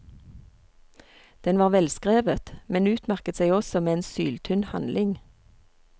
Den var velskrevet, men utmerket seg også med en syltynn handling.